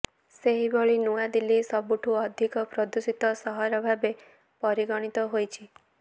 ସେହିଭଳି ନୂଆଦିଲ୍ଲୀ ସବୁଠଁୁ ଅଧିକ ପ୍ରଦୂଷିତ ସହର ଭାବେ ପରିଗଣିତ ହୋଇଛି